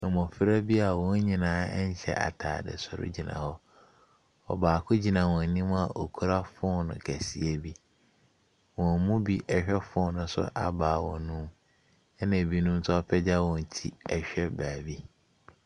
Mmofra bi a wɔn nyinaa hyɛ ataade soro gyina hɔ. Ɔbaako gyina wɔn anim a okura phone kɛseɛ bi. Wɔn mu bi rehwɛ phone no so a baako no. ɛna ebinom nso apagya wɔn ti rehwɛ baabi.